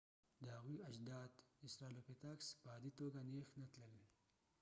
د هغوی اجداد استرالوپیتاکس په عادي توګه نېغ نه تلل